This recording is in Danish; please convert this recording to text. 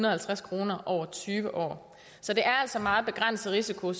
og halvtreds kroner over tyve år så det er altså meget begrænset risiko